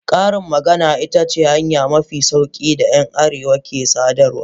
Karin magana, ita ce hanya mafi sauki da ‘yan arewa ke sadarwa.